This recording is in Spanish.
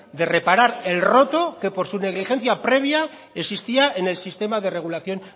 de reparar el roto que por su negligencia previa existía en el sistema de regulación